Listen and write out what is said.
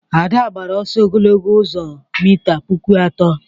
Ada gbara ọsọ ogologo ụzọ mita puku atọ